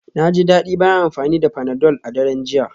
Na ji daɗi bayan amfani da panadol a daren jiya.